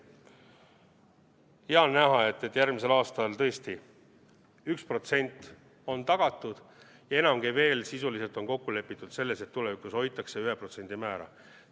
Ja on näha, et järgmisel aastal tõesti 1% on tagatud ja enamgi veel, sisuliselt on kokku lepitud selles, et tulevikus hoitakse 1% määra.